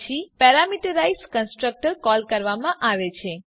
પછી parameterize constructor call કરવામાં આવે છે